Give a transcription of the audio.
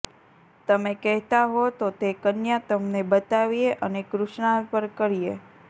તમે કહેતા હો તો તે કન્યા તમને બતાવીએ અને કૃષ્ણાર્પણ કરીએ